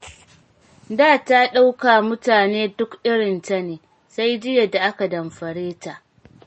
Da ta ɗauka duk mutane irinta ne, sai jiya da aka damfare ta.